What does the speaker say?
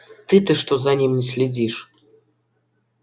ты-то что за ним не следишь